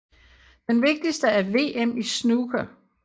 Den vigtigste er VM i snooker